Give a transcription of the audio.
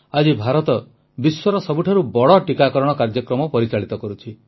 ଆଜି ଭାରତ ବିଶ୍ୱର ସବୁଠାରୁ ବଡ଼ ଟିକାକରଣ କାର୍ଯ୍ୟକ୍ରମ ପରିଚାଳିତ କରୁଛି